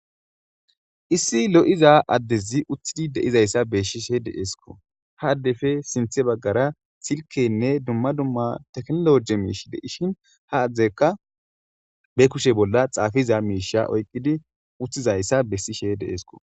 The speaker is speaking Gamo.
issi lo7iza addezi uththidi deizayssa beesshishe deeesko ha addefe sinthe baggara silkenne dumma dumma teknologe miish deishin ha adzdekka be kushe bolla xaafiza miisha oyqqidi uththizayssa bessishe deeesko